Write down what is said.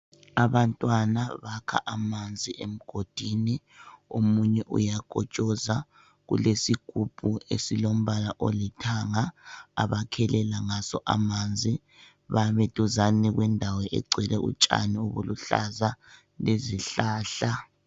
Abantwana bakha amanzi emgodini omunye uyakotshoza. Kulesigubhu esilombala olithanga abakhelela ngaso amanzi. Bami duzane kwendawo egcwele utshani obuluhlaza lezihlahla